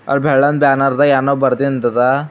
ಅಲ್ ಬೆಳ್ಳಂದು ಬ್ಯಾನರ್ದಾಗ್ ಏನೋ ಬರ್ದಿಂದ್ ಅದ.